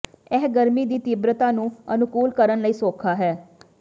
ਇਹ ਗਰਮੀ ਦੀ ਤੀਬਰਤਾ ਨੂੰ ਅਨੁਕੂਲ ਕਰਨ ਲਈ ਸੌਖਾ ਹੈ